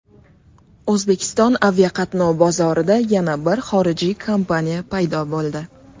O‘zbekiston aviaqatnov bozorida yana bir xorijiy kompaniya paydo bo‘ldi.